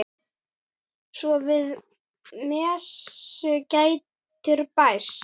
Svo við messu getur bæst.